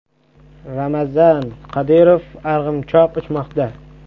Ramzan Qodirov arg‘imchoq uchmoqda.